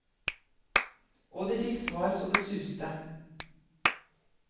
Og de fikk svar så det suste.